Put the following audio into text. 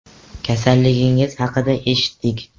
Kasalligingiz haqida eshitdik.